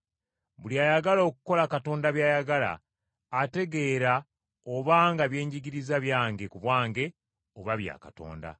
Buli ayagala okukola Katonda by’ayagala, ategeera obanga bye njigiriza byange ku bwange oba bya Katonda.